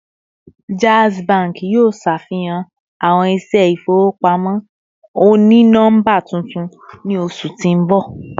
Jazz Bank yoo ṣafihan awọn iṣẹ ifowopamọ oni nọmba tuntun ni oṣu ti n bọ